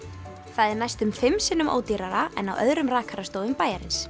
það er næstum fimm sinnum ódýrara en á öðrum rakastofum bæjarins